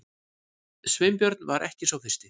Sveinbjörn var ekki sá fyrsti.